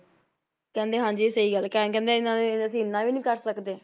ਕਹਿੰਦੇ ਹਾਂਜੀ ਸਹੀ ਗੱਲ, ਤੇ ਕਹਿੰਦੇ ਇਹਨਾਂ ਲਈ ਅਸੀਂ ਇੰਨਾ ਵੀ ਕਰ ਸਕਦੇ।